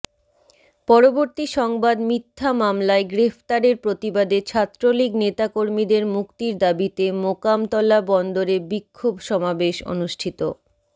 পরবর্তী সংবাদ মিথ্যা মামলায় গ্রেফতারের প্রতিবাদে ছাত্রলীগ নেতাকর্মীদের মুক্তির দাবীতে মোকামতলা বন্দরে বিক্ষোভ সমাবেশ অনুষ্ঠিত